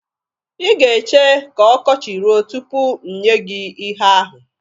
Ị ga-eche ka ọkọchị ruo tupu m nye gị ihe ahụ.